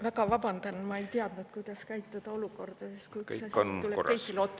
Väga vabandan, ma ei teadnud, kuidas käituda olukorras, kus üks asi tuleb teisele otsa.